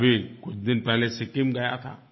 मैं अभी कुछ दिन पहले सिक्किम गया था